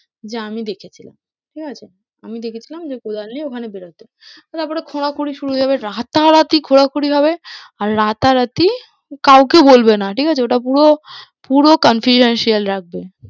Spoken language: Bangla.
যে আমি দেখেছিলাম ঠিক আছে? আমি দেখেছিলাম যে কোদাল নিয়ে ওখানে বেরোতে তো তারপরে খোঁড়াখুঁড়ি শুরু হয়ে গেলো, রাতারাতি খোঁড়াখুঁড়ি হবে আর রাতারাতি কাউকে বলবে না, ঠিক আছে ওটা পুরো পুরো confidential রাখবে।